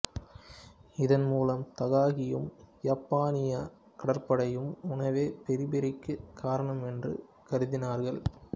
இதன் மூலம் தகாகியும் யப்பானிய கடற்படையும் உணவே பெரிபெரிக்குக் காரணம் என்று கருதினார்கள்